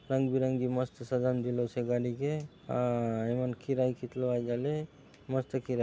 रंग - बिरंगी मस्त सजाऊँन दिलोसे गाड़ी के अ एमनर किराया कितरो आय जाले मस्त किराया --